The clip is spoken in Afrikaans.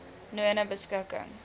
nonebeskikking